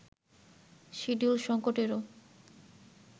schedule সংকটেরও